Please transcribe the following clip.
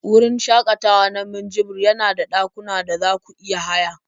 Wurin shakatawa na Minjibir yana da dakuna da za ku iya haya